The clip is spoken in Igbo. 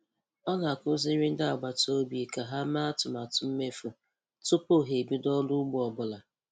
Ọ na-akụziri ndị agbata obi ka ha mee atụmatụ mmefu tupu ha ebido ọrụ ugbo ọ bụla.